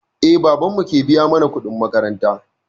Eh, babanmu ke biya mana kuɗin makaranta.